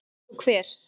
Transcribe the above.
Eins og hver?